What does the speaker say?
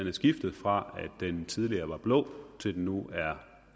er skiftet fra at den tidligere var blå til at den nu er